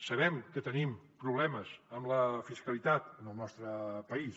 sabem que tenim problemes amb la fiscalitat en el nostre país